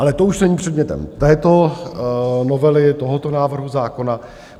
Ale to už není předmětem této novely, tohoto návrhu zákona.